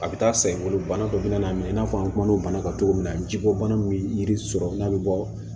A bɛ taa san bolo bana dɔ bɛ na mɛ i n'a fɔ an kumana o bana ka togo min na jiko bana min bɛ yiri sɔrɔ n'a bɛ bɔ